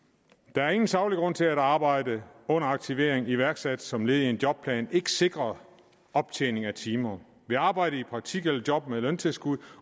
der er ingen saglig grund til at arbejde under aktivering iværksat som led i en jobplan ikke sikrer optjening af timer ved arbejde i praktik eller job med løntilskud